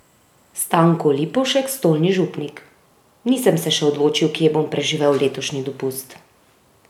Stanko Lipovšek, stolni župnik: "Nisem se še odločil, kje bom preživel letošnji dopust.